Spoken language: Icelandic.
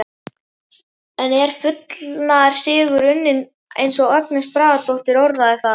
En er fullnaðarsigur unnin eins og Agnes Bragadóttir orðaði það?